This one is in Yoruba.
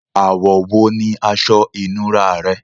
Ààwọ̀ wo ní asọ ìnúrá rẹ?